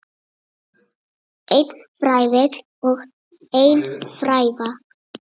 Einn fræfill og ein fræva.